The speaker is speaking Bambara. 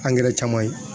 caman ye